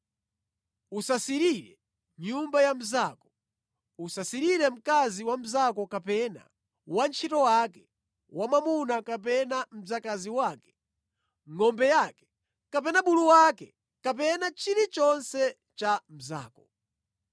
“Usasirire nyumba ya mnzako. Usasirire mkazi wa mnzako kapena wantchito wake wamwamuna kapena mdzakazi wake, ngʼombe yake kapena bulu wake, kapena chilichonse cha mnzako.”